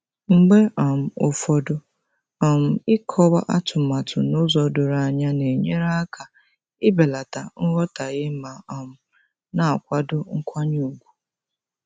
Mgbe um ụfọdụ um ịkọwa atumatu n'ụzọ doro anya na-enyere aka ibelata nghọtahie ma um na-akwado nkwanye ùgwù.